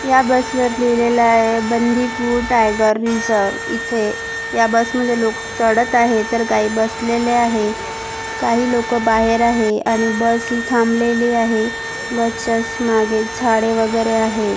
या बसवर लिहलेल आहे बंदिपूर टायगर रिसर्व इथे या बसमध्ये लोक चडत आहे तर काही बसलेले आहे काही लोक बाहेर आहे आणि बस ही थांबलेली आहे बसच्या माघे झाडे वगैरे आहे.